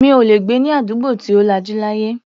Mi ò lè gbé ní àdúgbò tí ò lajú láyé.